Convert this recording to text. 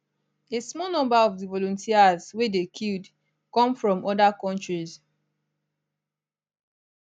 a small number of di volunteers wey dey killed come from oda countries